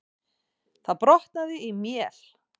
Það brotnaði í mél.